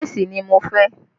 Léèsì ni mo fẹ́